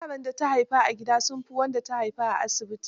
Yaran da ta haifa a gida sun fi wanda ta haifa a asibiti.